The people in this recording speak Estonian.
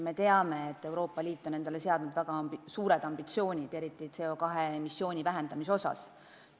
Me teame, et Euroopa Liit on endale esitanud väga suured ambitsioonid, eriti CO2 emissiooni vähendamiseks.